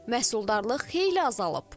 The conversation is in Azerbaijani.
Məhsuldarlıq xeyli azalıb.